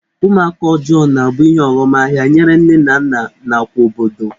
Ụmụaka ọjọọ na-abụ ihe ọghọmahịa nyere nne na nna nakwa obodo.